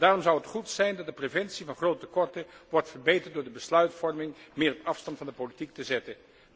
Daarom zou het goed zijn dat de preventie van grote tekorten wordt verbeterd door de besluitvorming meer op afstand van de politiek te zetten.